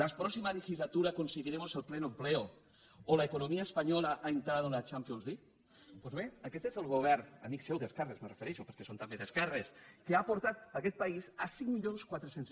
la próxima legislatura conseguiremos el pleno empleo o la economía española ha entrado en la champions league doncs bé aquest és el govern amic seu d’esquerres me refereixo perquè són també d’esquerres que ha portat aquest país a cinc mil quatre cents